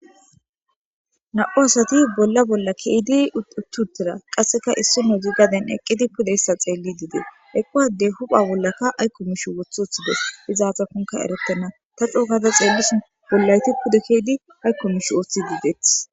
Na'u asati bolla bolla keedi uttuttira qasseka issi nu gi gaden eqqidi pudeyssa xeelli didee eqquwadey hupha bollaka aykko mishu woth oththides izaata kunka erettena ta cookada xeellisi bollayti pude keedi aykko mish ooththi dideeth.